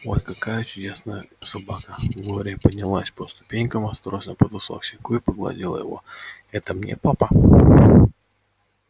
ой какая чудная собака глория поднялась по ступенькам осторожно подошла к щенку и погладила его это мне папа